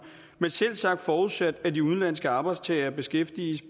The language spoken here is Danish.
men selvsagt forudsat at de udenlandske arbejdstagere beskæftiges